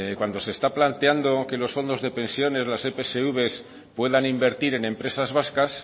cuando se está planteando que los fondos de pensiones las epsv puedan invertir en empresas vascas